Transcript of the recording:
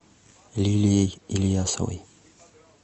лилией ильясовой